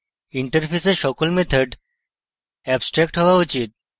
interface সকল methods abstract হওয়া উচিত